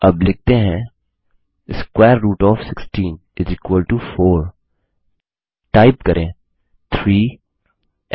अब लिखते हैं स्क्वेयर रूट ओएफ 16 4 टाइप करें 3